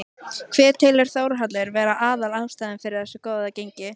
Hver telur Þórhallur vera aðal ástæðuna fyrir þessu góða gengi?